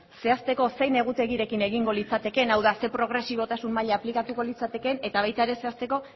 zehazteko zein egutegirekin egingo litzatekeen hau da zer progresibotasun maila aplikatuko litzatekeen eta baita ere zehazteko